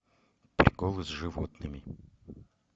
приколы с животными